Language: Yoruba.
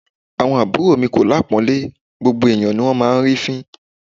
Àwọn àbúrò mi kò lápọ̀ńlé, gbogbo ẹ̀yán ni wón máa ń rí fín.